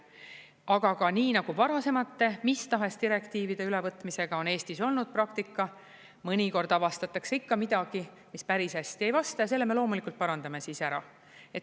Aga ka nii nagu varasemate mis tahes direktiivide ülevõtmisega on Eestis olnud praktika, mõnikord avastatakse ikka midagi, mis päris hästi ei vasta, ja selle me loomulikult parandame siis ära.